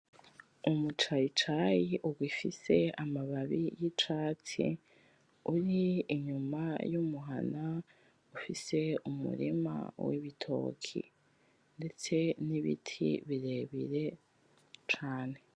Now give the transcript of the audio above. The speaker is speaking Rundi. Umucayicayi ugifise amababi y’icatsi uri inyuma y’umuhana ufise umurima w’ibitoki ndetse n’ibiti birebire cane.